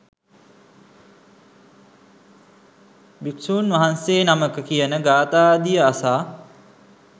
භික්ෂූන් වහන්සේ නමක කියන ගාථාදිය අසා